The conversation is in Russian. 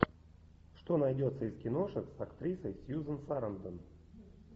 что найдется из киношек с актрисой сьюзан сарандон